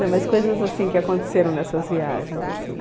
Não, mas coisas assim que aconteceram nessas viagens, assim?